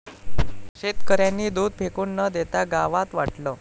शेतकऱ्यांनी दूध फेकून न देता गावात वाटलं